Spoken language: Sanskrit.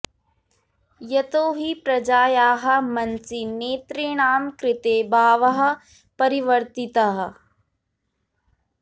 यतो हि प्रजायाः मनसि नेतॄणां कृते भावः परिवर्तितः